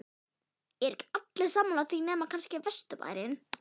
eru ekki allir sammála því nema kannski vesturbærinn?